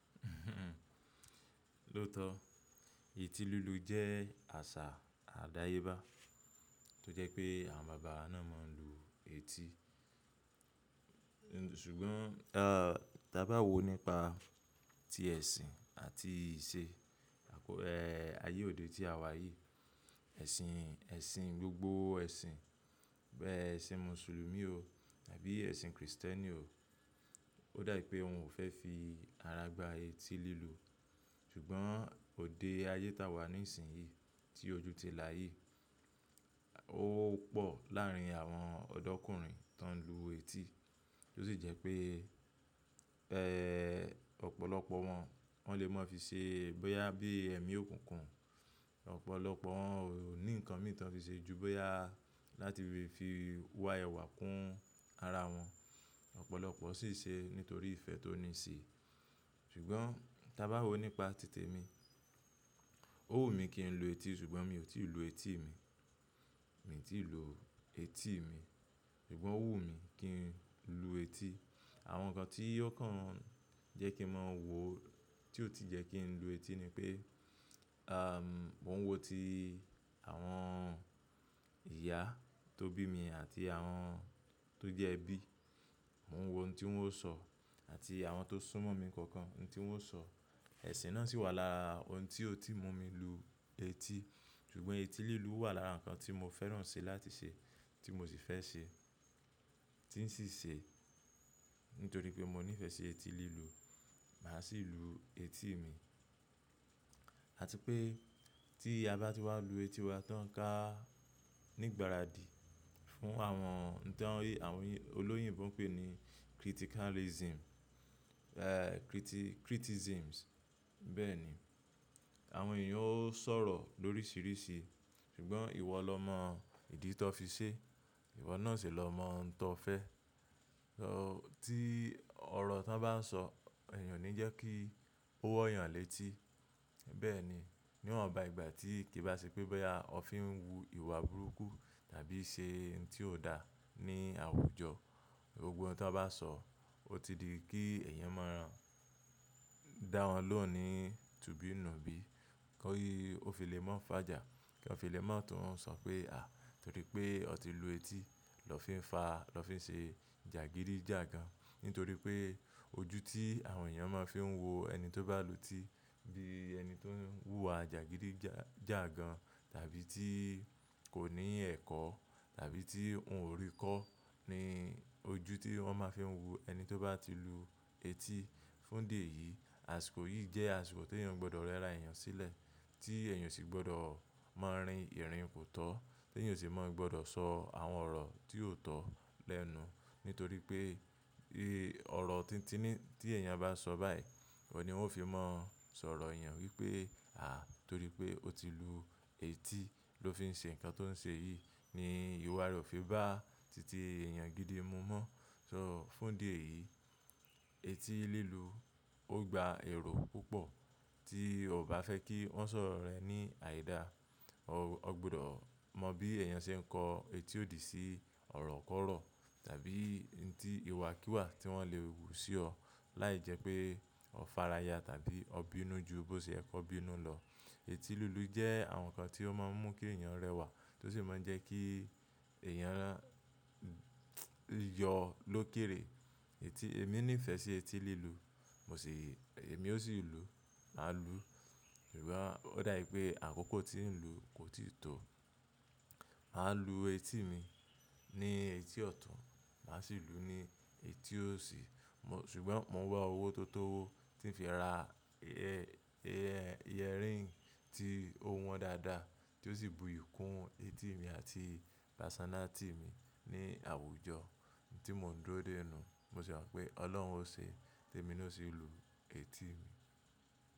Lóòtọ́, ètí lílu jẹ́ àṣà àdáyébá tó jẹ́ pé àwọn bàbá náà máa ń lu ètí. Ṣùgbọ́n, a, tàbà wò nípa ti ẹ̀sìn àti ìṣe, ayé òde tí àwa yìí, ẹ̀sìn, ẹ̀sìn gbogbo ẹ̀sìn, bẹ́ẹ̀ ẹ̀sìn Mùsùlùmí o, tàbí ẹ̀sìn Kristẹ́nì o, ó dà pé wọn ò fẹ́ fi ára gbá etí lílu. Ṣùgbọ́n òde ayé táa wà ní ìsìn yìí tí ojú ti là yìí, ó pò láàrín àwọn ọ̀dọ́kùnrin tó ń lu etí, tó sì jẹ́ pé, ọ̀pọ̀lọpọ̀ wọn wọ́n lè máa fi ṣe bóyá bí ẹ̀mí òkùnkùn, ọ̀pọ̀lọpọ̀ wọ́n ò ní nǹkan mìíràn fi ṣe ju bóyá láti fi wá ẹwà kún ara wọn. Ọ̀pọ̀lọpọ̀ sì ṣe nítorí ìfẹ́ tó ní sí i. Ṣùgbọ́n tàbí àwò nípa tìtẹ̀ mi, ó wù mí kí n lu etí ṣùgbọ́n mi ò tí ì lu etí mi, mi ò tí ì lu etí mi. Ṣùgbọ́n ó wù mí kí n lu etí. Àwọn nǹkan tí ó kàn jẹ́ kí má wò tí ò tí jẹ́ kí n lu etí ni pé, a, mò ń wo ti àwọn ìyá tó bí mi àti àwọn tó jẹ́ ẹbí, mò ń wo ohun tí wọ́n sọ àti àwọn tó súnmọ́ mi kánkán óhún tí wọ́n sọ. Ẹ̀sìn náà sì wà lára ohun tí ó ti mú mi lu etí. Ṣùgbọ́n etí lílu wà lára nǹkan tí mo fẹ́ràn ṣe láti ṣe tí mo sì fẹ́ ṣe tí ń sì ṣe nítorí pé mo nífẹ̀ẹ́ ṣe etí lílu. Màá sì lu etí mi. Àti pé tí a bá ti wá lu etí wa tán ká nígbàradì fún àwọn nǹkán tí àwọn olóyìnbò ń pe ní criticalism, criticisms. Bẹ́ẹ̀ ni. Àwọn èèyàn ó sọ̀rọ̀ lóríṣiríṣi. Ṣùgbọ́n ìwọ lọ mọ ìdí tí ọ fí ṣe, ìwọ náà sì lọ mọ óhún tí ọ fẹ́. Tí ọ̀rọ̀ tán bá ń sọ èèyàn ò ní jẹ́ kí ó wọ́ yàn létí. Bẹ́ẹ̀ ni. Níwọ̀nba ìgbà tí kì í bá ṣe pé bóyá o fi ń wu ìwà burúkú tàbí ṣe òhún tí ò dá ní àwùjọ. Gbógbó òhún tí wọ́n bá sọ ó ti di kí èèyàn máa dá wọn lóhùn ní tùbí nùbí. Kọ́ ì, ó fi lè máa fàjà kí wọ́n fi lè máa tún sọ pé à í torí pé o ti lu etí lọ́ fi ń fa lọ́ fi ń ṣe jàgídíjàgàn. Nítorí pé ojú tí àwọn èèyàn máa fi ń wo ẹni tó bá lu etí bí ẹni tó ń wùwà jàgídíjàgan tàbí tí kò ní ẹ̀kọ́ tàbí tí òun ò rí kọ́ ni ojú tí wọ́n máa fi ń wo ẹni tó bá ti lu etí. Fún díẹ̀ yìí, àsìkò yìí jẹ́ àsìkò tí èèyàn gbọdọ̀ rẹra èèyàn sílẹ̀ tí èèyàn sì gbọdọ̀ máa rin ìrìn kò tọ́ tí èèyàn sì máa gbọdọ̀ sọ àwọn ọ̀rọ̀ tí ò tọ̀ lẹ́nu. Nítorí pé ọ̀rọ̀ tíntíní tí èèyàn bá sọ báyìí, ọ ní wọn ó fi máa sọ̀rọ̀ èèyàn wípé à í torí pé ó ti lu etí ló fi ń ṣe ǹkan tó ń ṣe yìí. Ni ìwà rẹ̀ ò fi bá tìtì èèyàn gídí mú mọ́. So fún ìdí ẹ̀yìí etí lílu ó gba èrò púpọ̀ tí o ò bá fẹ́ kí wọ́n sọ ọ̀rò rẹ́ ní àìda. O gbọdọ̀ mọ bí èèyàn ṣe ń kọ etí òdì sí ọ̀rọ̀ kọ̀rọ̀ tàbí n tí ìwà kìwà tí wọ́n lè wù sí ọ láì jẹ́ pé o fáráyà tàbí o bínú ju bó ṣe ẹ kọ bínú lọ. Etí lílu jẹ́ àwọn nǹkan tí ó máa ń mú kí èèyàn rẹwà tó sì máa ń jẹ́ kí èèyàn yọ lókèèrè. Etí èmi nífẹ̀ẹ́ ṣe etí lílu. Mo sì èmi ó sì lu, màá lu. Ṣùgbọ́n ó dà pé àkókò tí ń lu kò tíì tó. Màá lu etí mi ní etí ọ̀tún màá sì lu ní etí òsì. Mọ̀ ṣùgbọ́n mò ń wá owó tó tó owó tí ń fi ra yẹrí tí ó wọ́n dáadáa tí ó sì búyì kún etí mi àti personality mi ní àwùjọ tí mò ń dúró dé nú. Mo sì mọ̀ pé Ọlọ́run ò ṣe tí èmi ò sì lu etí mi.